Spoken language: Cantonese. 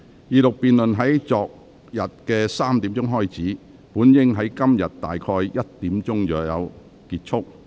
二讀辯論在昨天下午3時開始，本應在今天下午1時左右結束。